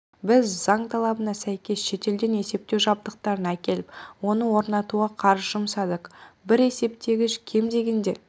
біз заң талабына сәйкес шетелден есептеу жабдықтарын әкеліп оны орнатуға қаржы жұмсадық бір есептегіш кем дегенде